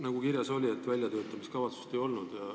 Nagu kirjas on, väljatöötamiskavatsust ei olnud.